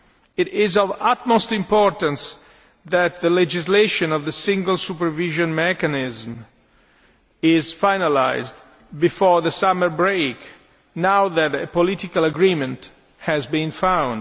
It is of utmost importance that the legislation on the Single Supervision Mechanism is finalised before the summer break, now that a political agreement has been found.